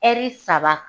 saba